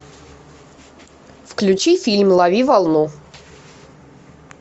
включи фильм лови волну